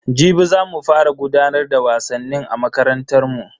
Jibi za mu fara gudanar da wasannin a makarantar mu.